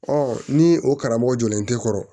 Ɔ ni o karamɔgɔ jɔlen tɛ kɔrɔ